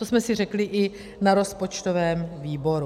To jsme si řekli i na rozpočtovém výboru.